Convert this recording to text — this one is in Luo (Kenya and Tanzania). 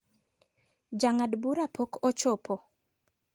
Jang'ad bura pok ochopo.